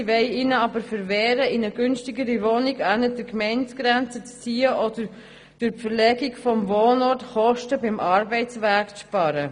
Gleichzeitig wollen wir ihnen aber verwehren, in eine günstigere Wohnung auf der anderen Seite der Gemeindegrenze zu ziehen oder durch die Verlegung des Wohnorts Kosten beim Arbeitsweg zu sparen.